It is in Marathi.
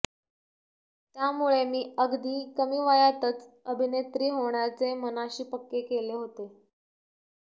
त्यामुळे मी अगदी कमी वयातच अभिनेत्री होण्याचे मनाशी पक्के केले होते